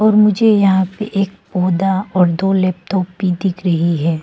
मुझे यहां पे एक पौधा और दो लैपटॉप भी दिख रही है।